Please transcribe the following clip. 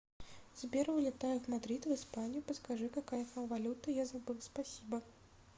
сбер вылетаю в мадрид в испанию подскажи какая там валюта я забыл спасибо